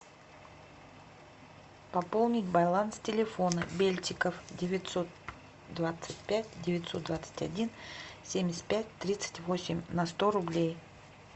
пополнить баланс телефона бельтиков девятьсот двадцать пять девятьсот двадцать один семьдесят пять тридцать восемь на сто рублей